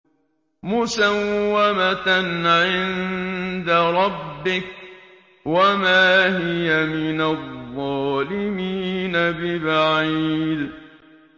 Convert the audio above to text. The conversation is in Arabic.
مُّسَوَّمَةً عِندَ رَبِّكَ ۖ وَمَا هِيَ مِنَ الظَّالِمِينَ بِبَعِيدٍ